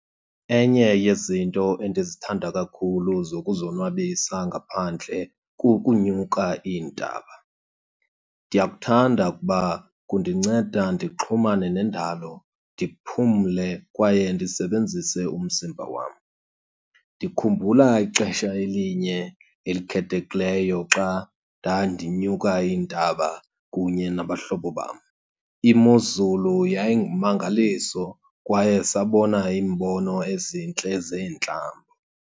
Enye yezinto endizithanda kakhulu zokuzonwabisa ngaphandle kukunyuka iintaba. Ndiyakuthanda ukuba kundinceda ndixhumane nendalo, ndiphumle kwaye ndisebenzise umzimba wam. Ndikhumbula ixesha elinye elikhethekileyo xa ndandinyuka iintaba kunye nabahlobo bam, imozulu yayingummangaliso kwaye sabona iimbono ezintle zeentlango.